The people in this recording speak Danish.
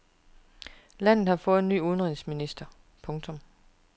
Landet har fået ny udenrigsminister. punktum